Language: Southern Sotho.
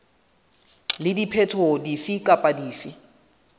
le diphetoho dife kapa dife